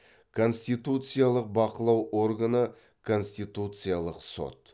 конституциялық бақылау органы конституциялық сот